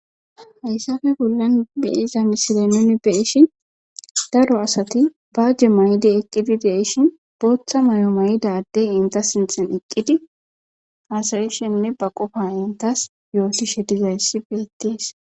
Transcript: Hayssafe bollan de7iza misile nuuni be7ishin daro asati baaje ma7idi eqqidi de7ishin bootha mayo mayida addey eta sinthan eqqidi haasa7ishenne ba qofa enttas yootishe dizayssi beettees.